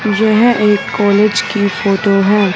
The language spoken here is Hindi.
जो है एक कॉलेज की फोटो है।